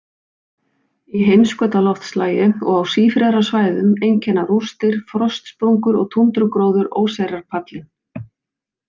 Í heimskautaloftslagi og á sífrerasvæðum einkenna rústir, frostsprungur og túndrugróður óseyrarpallinn.